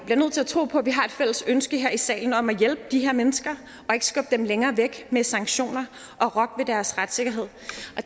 bliver nødt til at tro på at vi har et fælles ønske her i salen om at hjælpe de her mennesker og ikke skubbe dem længere væk med sanktioner og rokke ved deres retssikkerhed